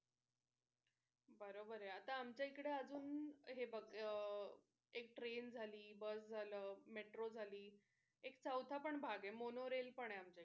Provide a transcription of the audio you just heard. बरोबर आहे आता आमच्या इकडे अजून हे बग एक train झाली bus झालं metro झाली एक चवथा पण भाग आहे monorail पण आहे आमच्याकडे